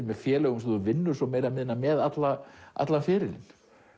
með félögum sem þú vinnur meira og minna með allan allan ferilinn